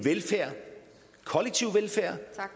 kollektiv velfærd